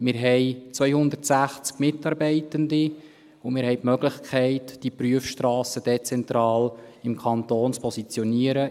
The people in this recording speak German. Wir haben 260 Mitarbeitende, und wir haben die Möglichkeit, die Prüfstrassen dezentral im Kanton zu positionieren.